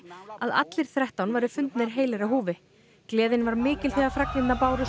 að allir þrettán væri fundnir heilir á húfi gleðin var mikil þegar fregnirnar bárust